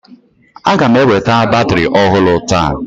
a ga m eweta batrị ọhụrụ taa